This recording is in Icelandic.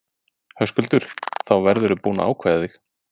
Höskuldur: Þá verðurðu búinn að ákveða þig?